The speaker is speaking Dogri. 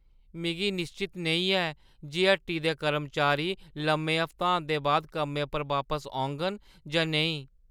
मिगी निश्चत नेईं ऐ जे हट्टी दे कर्मचारी लम्मे हफ्तांत दे बाद कम्मै पर बापस औङन जां नेईं।